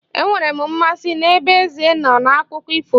Enwere m mmasị n'ebe eze nọ n'akụkọ ifo